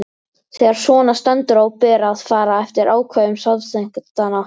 Þegar svona stendur á ber að fara eftir ákvæðum samþykktanna.